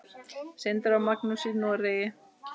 Sindri og Magnús í Noregi.